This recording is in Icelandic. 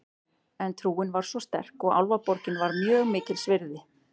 En trúin var svo sterk og Álfaborgin var mjög mikils virði.